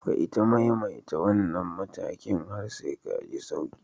Ka ita maimaita wannan matakin har ka ji sauki.